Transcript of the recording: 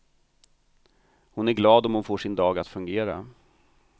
Hon är glad om hon får sin dag att fungera.